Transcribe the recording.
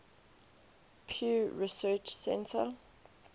pew research center